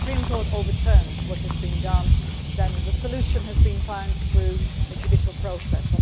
If the Supreme Court overturns what has been done, then the solution has been found through a judicial process.